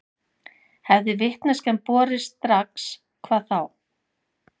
Hefði vitneskjan borist strax hvað þá?